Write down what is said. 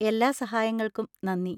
എല്ലാ സഹായങ്ങൾക്കും നന്ദി.